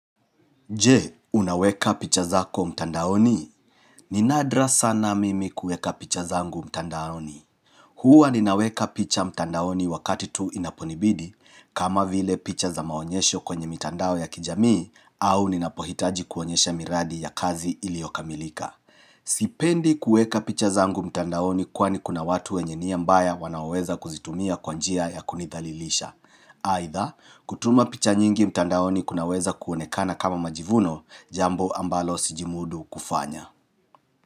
Je, unaweka picha zako mtandaoni? Ni nadra sana mimi kuweka picha zangu mtandaoni. Huwa ninaweka picha mtandaoni wakati tu inaponibidi kama vile picha za maonyesho kwenye mitandao ya kijamii au ninapohitaji kuonyesha miradi ya kazi iliyokamilika. Sipendi kuweka picha zangu mtandaoni kwani kuna watu wenye nia mbaya wanaweza kuzitumia kwanjia ya kunidhalilisha. Aidha, kutuma picha nyingi mtandaoni kunaweza kuonekana kama majivuno Jambo ambalo sijimudu kufanya.